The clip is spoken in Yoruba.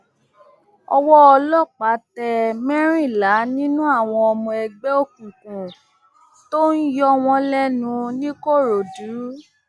owó ọlọpàá tẹ mẹrìnlá nínú àwọn ọmọ ẹgbẹ òkùnkùn tó ń yọ wọn lẹnu nìkòròdú